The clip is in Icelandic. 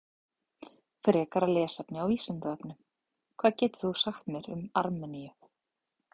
Frekara lesefni á Vísindavefnum: Hvað getur þú sagt mér um Armeníu?